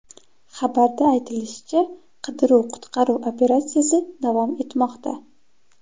Xabarda aytilishicha, qidiruv-qutqaruv operatsiyasi davom etmoqda.